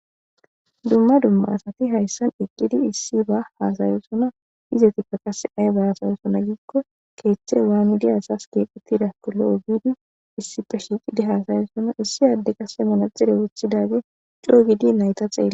Dumma dumma asati hayssan eqqidi issi ba haasayosona izetikka qase ay ba asayosona giikko keeththe waa nu diyasas keeqqutidakko lo7o biidi issi pe shiiqidi haasayosona issi adde qase manadxire wuthidage coo gidi nayta xeele.